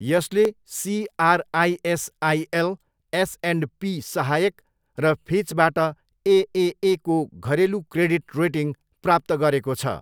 यसले CRISIL, S and P सहायक र फिचबाट एएएको घरेलु क्रेडिट रेटिङ प्राप्त गरेको छ।